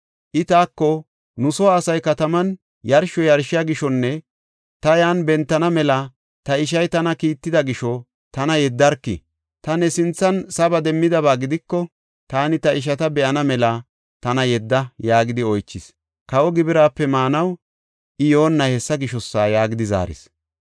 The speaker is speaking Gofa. I taako, ‘Nu soo asay kataman yarsho yarshiya gishonne ta yan bentana mela ta ishay tana kiitida gisho tana yeddarki. Ta ne sinthan saba demmidaba gidiko taani ta ishata be7ana mela tana yedda’ yaagidi oychis. Kawa gibiraape maanaw I yoonnay hessa gishosa” yaagidi zaaris.